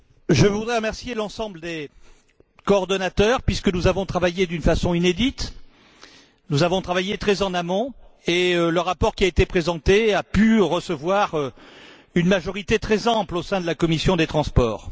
Je voudrais remercier l'ensemble des coordonnateurs, puisque nous avons travaillé d'une façon inédite, nous avons travaillé très en amont, et le rapport qui a été présenté a pu recevoir une majorité très ample au sein de la commission des transports.